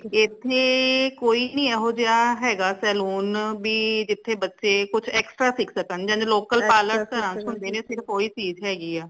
ਏਥੇ ਕੋਈ ਨਈ ਹੈਗਾ saloon ਭੀ ਜਿਥੇ ਬੱਚੇ ਕੁਝ extra ਸਿੱਖ ਸਿਕਣ ਜਿੰਝ local parlor ਆਮ ਹੁੰਦੇ ਹ ਸਿਰਫ ਓਹੀ ਚੀਜ਼ ਹੈਗੀ ਆ